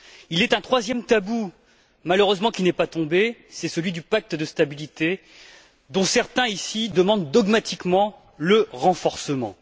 Il est un troisième tabou qui n'est malheureusement pas tombé, c'est celui du pacte de stabilité, dont certains ici demandent dogmatiquement le renforcement.